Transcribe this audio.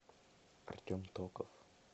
артем токов